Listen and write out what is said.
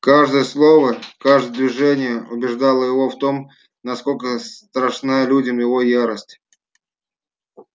каждое их слово каждое движение убеждало его в том насколько страшна людям его ярость